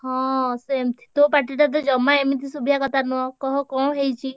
ହଁ ସେମତି, ତୋ ପାଟିଟା ତ ଜମା ଏମିତି ଶୁଭିଆ କଥା ନୁହଁ କହ କଣ ହେଇଛି?